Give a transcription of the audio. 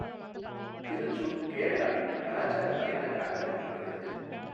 திருச்சூா் கேரளாவின் கலாச்சார தலைநகராக அறியப்படுகிறது.